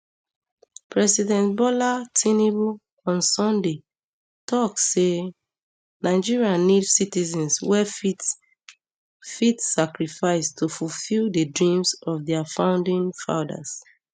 president um bola tinubu on sunday tok um say nigeria need citizens wey fit fit sacrifice to fulfil di dreams of dia founding fathers